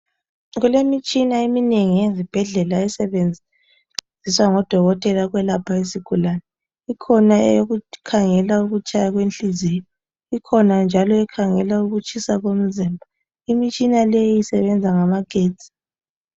Kulemitshina eminengi ezibhedlela esebenziswa ngo dokotela ukwelapha izigulane. Ikhona eyokukhangela ukutshaya kwenhliziyo; ikhona njalo ekhangela ukutshisa komzimba. Imitshina leyi isebenza ngamagetsi.